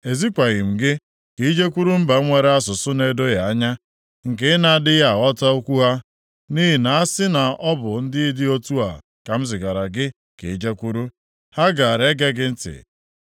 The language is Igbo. Ezikwaghị m gị ka i jekwuru mba nwere asụsụ na-edoghị anya, nke ị na-adịghị aghọta okwu ha. Nʼihi na a sị na ọ bụ ndị dị otu a ka m zigara gị ka i jekwuru, ha gaara ege gị ntị.